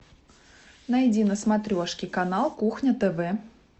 найди на смотрешке канал кухня тв